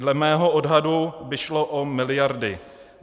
Dle mého odhadu by šlo o miliardy.